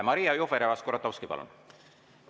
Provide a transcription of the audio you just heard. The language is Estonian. Maria Jufereva-Skuratovski, palun!